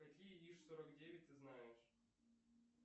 какие иж сорок девять ты знаешь